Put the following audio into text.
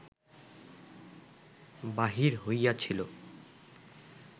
বাহির হইয়াছিল